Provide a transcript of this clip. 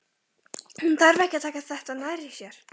Hún þurfi ekki að taka þetta nærri sér.